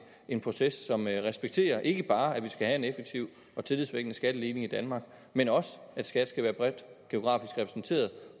en proces som respekterer ikke bare at vi skal have en effektiv og tillidsvækkende skatteligning i danmark men også at skat skal være bredt geografisk repræsenteret